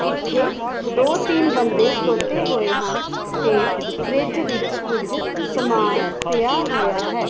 ਇਥੇ ਦੋ ਤਿੰਨ ਬੰਦੇ ਖਲੋਤੇ ਹੋਏ ਹਨ ਤੇ ਫਰਿਜ ਵਿੱਚ ਕੁਝ ਸਮਾਨ ਪਿਆ ਹੋਇਆ ਹੈ।